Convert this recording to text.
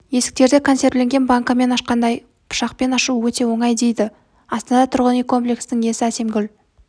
есіктерді консервіленген банкілерді ашқандай пышақпен ашу өте оңай дейді астана тұрғын үй комплексінің иесі әсемгүл